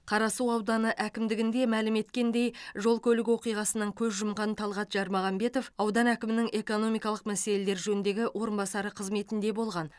қарасу ауданы әкімдігінде мәлім еткендей жол көлік оқиғасынан көз жұмған талғат жармағамбетов аудан әкімінің экономикалық мәселелер жөніндегі орынбасары қызметінде болған